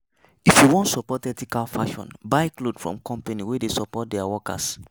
If you wan support ethical fashion, buy cloth from companies wey care for dia workers.